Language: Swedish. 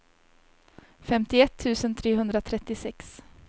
femtioett tusen trehundratrettiosex